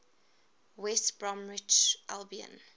west bromwich albion